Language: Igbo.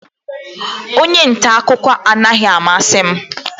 Onye nta akụkọ anaghị amasị m